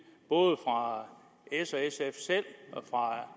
både fra s og sf selv fra